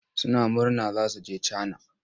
Suna murna za su je Cana.